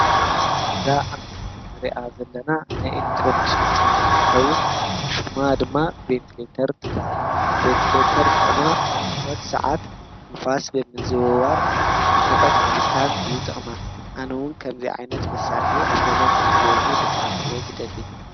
እዛ ኣብ ምስሊ እንርእያ ዘለና ናይ ኤሌትሮኒክስ ውፅኢት እንትኸውን ሹማ ድማ ቬንትሬተር ትብሃል። ፔንትሬተር ጥቅማ ኣብ ሙቐት ስዓት ንፋስ ብምዝውዋር እቲ ሙቐት ምብታን እዩ ጥቕማ። ኣነ እውን ከምዚኣ መሳርሒ ኣብ ገዛይ ክትህልወኒ ብጣዕሚ እየ ዝደሊ።